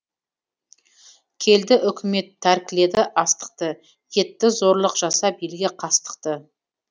келді үкімет тәркіледі астықты етті зорлық жасап елге қастықты